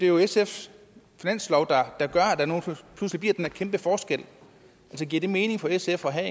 jo sfs finanslov der gør at der nu pludselig bliver den her kæmpe forskel giver det mening for sf at have